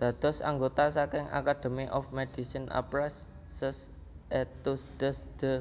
Dados anggota saking Academy of MedicineAprès ses études de